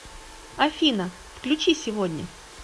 афина включи сегодня